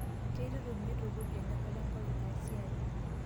Keitutum neitukuj eonyorata enkop ina siai